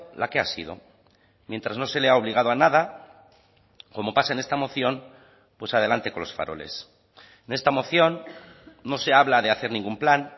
la que ha sido mientras no se le ha obligado a nada como pasa en esta moción pues adelante con los faroles en esta moción no se habla de hacer ningún plan